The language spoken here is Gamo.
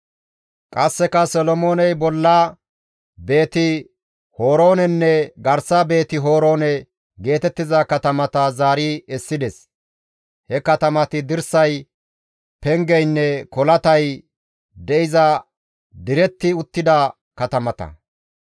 Qasseka Solomooney bolla Beeti-Horoonenne garsa Beeti-Horoone geetettiza katamata zaari essides; he katamati dirsay pengeynne kolatay de7iza diretti uttida katamata.